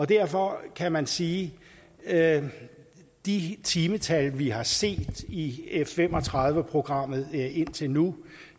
derfor kan man sige at med de timetal vi har set i f fem og tredive programmet indtil nu